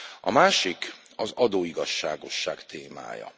A másik az adóigazságosság témája.